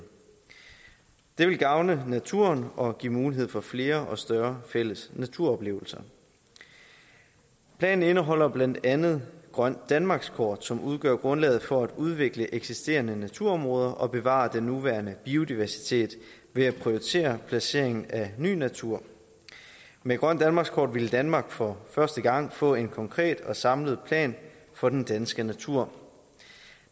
det vil gavne naturen og give mulighed for flere og større fælles naturoplevelser planen indeholder blandt andet grønt danmarkskort som udgør grundlaget for at udvikle eksisterende naturområder og bevare den nuværende biodiversitet ved at prioritere placeringen af ny natur med grønt danmarkskort ville danmark for første gang få en konkret og samlet plan for den danske natur